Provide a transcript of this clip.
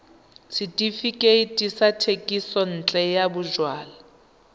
setefikeiti sa thekisontle ya bojalwa